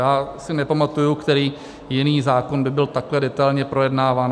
Já si nepamatuji, který jiný zákon by byl takhle detailně projednáván.